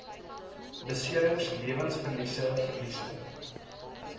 beserings lewensverlies verlies